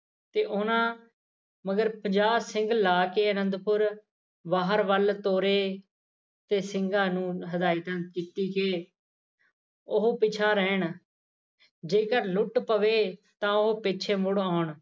ਤੇ ਉਨ੍ਹਾਂ ਮਗਰ ਪੰਜਾਹ ਸਿੰਘ ਲਾ ਕੇ ਅਨੰਦਪੁਰ ਬਾਹਰ ਵਲ ਤੋਰੇ ਤੇ ਸਿੰਘਾ ਨੂੰ ਹਦਾਇਤਾਂ ਕੀਤੀ ਕਿ ਉਹ ਪਿਛਾਂਹ ਰਹਿਣ ਜੇਕਰ ਲੁੱਟ ਪਵੇ ਤਾਂ ਉਹ ਪਿੱਛੇ ਮੁੜ ਆਉਣ